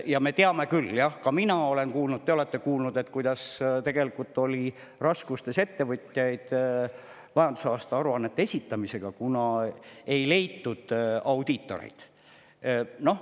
Ja me teame küll, mina olen kuulnud ja te olete kuulnud, et leidus ettevõtjaid, kellel on olnud raskusi majandusaasta aruannete esitamisega, kuna ei ole leitud audiitoreid.